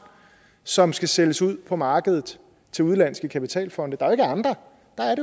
som skal sælges ude på markedet til udenlandske kapitalfonde der er jo ikke andre der er